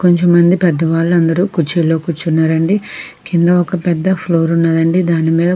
కొంచెం మంది పెద్దవాళ్లందరూ కూర్చులో కూర్చున్నారండి కింద ఒక పెద్ద ఫ్లోర్ ఉన్నదండి దానీ మీద.